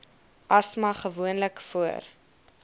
asma gewoonlik voor